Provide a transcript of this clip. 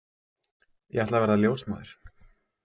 Ég ætla að verða ljósmóðir.